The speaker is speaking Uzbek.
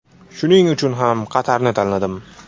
Shuning uchun ham Qatarni tanladim.